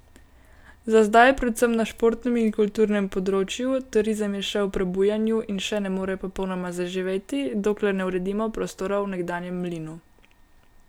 Za zdaj predvsem na športnem in kulturnem področju, turizem je še v prebujanju in še ne more popolnoma zaživeti, dokler ne uredimo prostorov v nekdanjem mlinu.